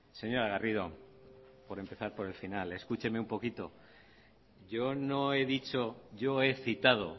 señora garrido por empezar por el final escúcheme un poquito yo no he dicho yo he citado